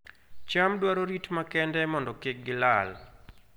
cham dwaro rit makende mondo kik gilal